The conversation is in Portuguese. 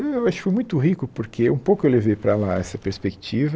Eu acho que foi muito rico porque um pouco eu levei para lá essa perspectiva.